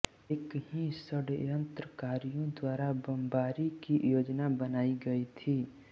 एक ही षड्यंत्रकारियों द्वारा बमबारी की योजना बनाई गई थी